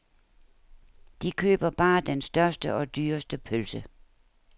De køber bare den største og dyreste pølse.